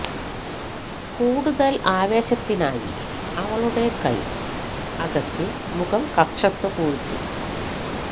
കൂടുതൽ ആവേശത്തിനായി അവളുടെ കൈ അകത്തി മുഖം കക്ഷത്ത് പൂഴ്ത്തി